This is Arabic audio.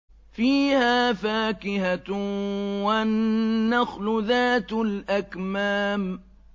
فِيهَا فَاكِهَةٌ وَالنَّخْلُ ذَاتُ الْأَكْمَامِ